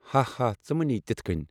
ہاہا، ژٕ مہٕ نہِ یہِ تِتھہٕ كٕنۍ ۔